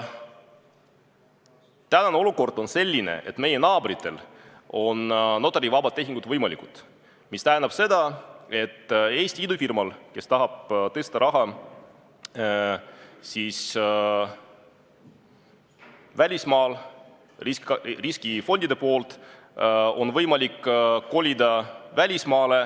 Tänane olukord on selline, et meie naabritel on notarivabad tehingud võimalikud, mis tähendab seda, et Eesti idufirmal, kes tahab tõsta raha välismaal riskifondide poolt, on võimalik kolida välismaale.